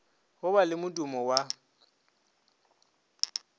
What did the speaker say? go ba le modumo wa